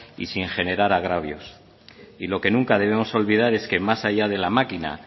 y sin generar agravios y lo que nunca demos olvidar es que más allá de la máquina